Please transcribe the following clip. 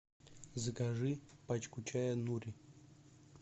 закажи пачку чая нури